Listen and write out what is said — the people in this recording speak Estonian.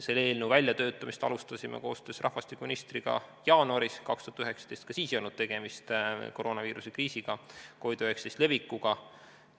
Selle eelnõu väljatöötamist alustasime koostöös rahvastikuministriga jaanuaris 2019, ka siis ei olnud tegemist koroonaviiruse kriisiga, COVID-19 levikuga.